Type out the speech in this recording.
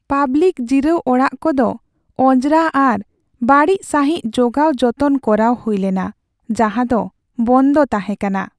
Public ᱡᱤᱨᱟᱹᱣ ᱚᱲᱟᱜ ᱠᱚᱫᱚ ᱚᱸᱡᱽᱨᱟ ᱟᱨ ᱵᱟᱹᱲᱤᱡ ᱥᱟᱹᱦᱤᱡ ᱡᱚᱜᱟᱣ ᱡᱚᱛᱚᱱ ᱠᱚᱨᱟᱣ ᱦᱩᱭᱞᱮᱱᱟ, ᱡᱟᱦᱟᱸ ᱫᱚ ᱵᱚᱱᱫᱚ ᱛᱟᱦᱮᱸ ᱠᱟᱱᱟ ᱾